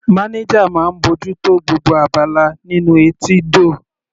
Manager máa ń bójú tó gbogbo abala nínú etídò.